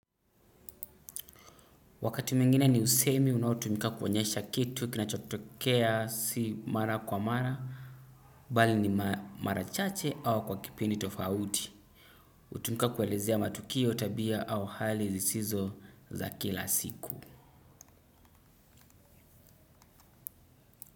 Wakati mwingine ni usemi unaotumika kuonyesha kitu kinachotokea si mara kwa mara, bali ni mara chache au kwa kipindi tofauti, hutumika kuelezea matukio tabia au hali zisizo za kila siku.